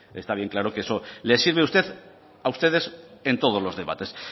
pues bueno pues está bien claro que eso le sirve a ustedes en todo los debates